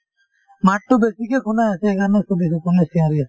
মাততো বেছিকে শুনাই আছে সেইকাৰণে সুধিছো কোনে চিঞৰি আছে